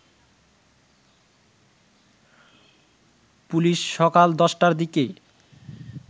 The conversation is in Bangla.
পুলিশ সকাল ১০টার দিকে